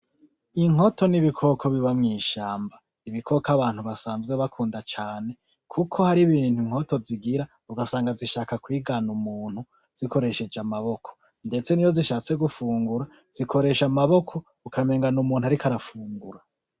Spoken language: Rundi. Inkoto n’ibikoko biba mw’ishamba , ibikoko abantu basanzwe bakunda cane Kuko hari ibintu inkoto zigira ugasanga zishaka kwigana umuntu zikoresheje amaboko ndetse n’iyo zishatse gufungura zikoresha amaboko ukamengo n’umuntu ariko arafungura.